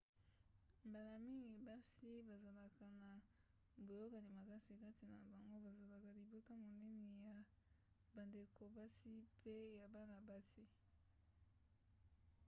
mbala mingi basi bazalaka na boyokani makasi kati na bango bazalaka libota monene ya bandeko basi mpe ya bana-basi